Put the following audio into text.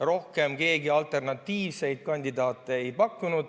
Rohkem keegi alternatiivseid kandidaate ei pakkunud.